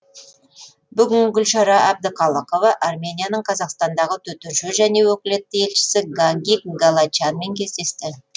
бүгін гүлшара әбдіқалықова арменияның қазақстандағы төтенше және өкілетті елшісі гагик галачянмен кездесті